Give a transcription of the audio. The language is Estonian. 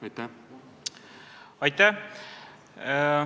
Aitäh!